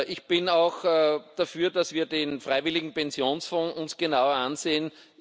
Ich bin auch dafür, dass wir uns den freiwilligen Pensionsfonds genauer ansehen.